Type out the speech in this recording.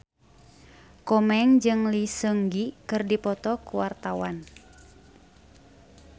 Komeng jeung Lee Seung Gi keur dipoto ku wartawan